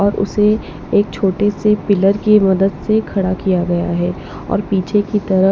और उसे एक छोटे से पिलर की मदद से खड़ा किया गया है और पीछे की तरह--